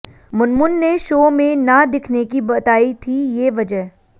मुनमुन ने शो में ना दिखने की बताई थी ये वजह